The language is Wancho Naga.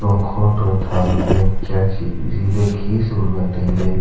long ago to tham nyam kiya khih le khi sumle tailey.